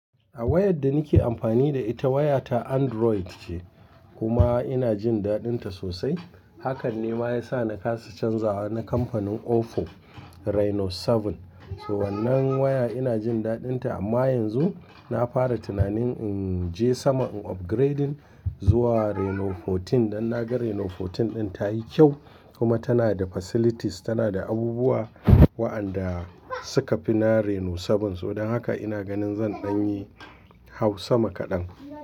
A wayar da nake amfani da ita waya ta Android ce kuma ina jin daɗinta sosai. Hakan ne ma ya sa na kasa canza wa na kamfanin Oppo Reno 7. Toh wannan waya ina jin daɗinta amma yanzu na fara tunanin in je sama in upgrading zuwa Reno 14 dan na ga Reno 14 ɗin ta yi kyau kuma tana da facilities, tana da abubuwa waɗanda suka fi na Reno 7. Toh don haka ina ganin zan ɗanyi hau sama kaɗan.